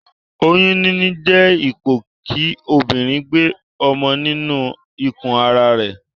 Oyún níní jé ipò kí obìrin gbe ọmọ nínu ikù ara rè